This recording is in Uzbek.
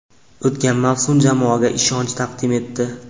O‘tgan mavsum jamoaga ishonch taqdim etdi.